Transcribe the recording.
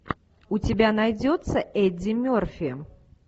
у тебя найдется эдди мерфи